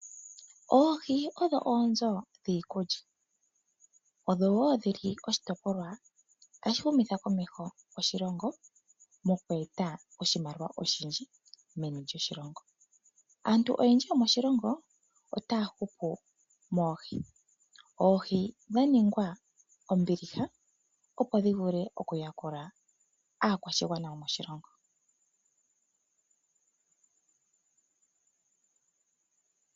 Oohi odho oonzo dhiikulya. Odho wo dhi li oshitopolwa tashi humitha komeho oshilongo moku eta oshimaliwa oshindji meni lyoshilongo. Aantu oyendji yomoshilongo otaya hupu moohi. Oohi dha ningwa ombiliha, opo dhi vule okuyakula aakwashigwana yomoshilongo.